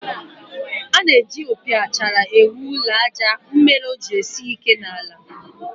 A na-eji opi achara ewu ụlọ àjà mere o ji esi ike n'ala